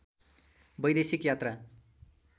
वैदेशिक यात्रा